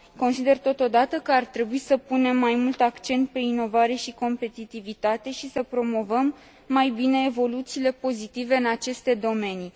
Consider totodată că ar trebui să punem mai mult accent pe inovare și competitivitate și să promovăm mai bine evoluțiile pozitive în aceste domenii.